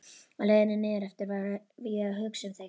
Á leiðinni niðureftir var ég að hugsa um þig.